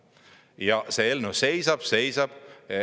Ja see eelnõu seisab, seisab.